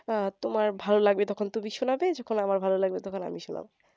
আহ তোমার ভালো লাগবে তখন তুমি শুনাবে যখন আমার ভালো লাগবে তখন আমি শুনাবো